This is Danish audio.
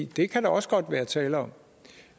det kan der også godt være tale om